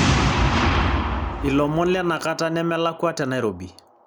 ilomon lenakata nemelakua tenairobi